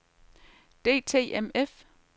DTMF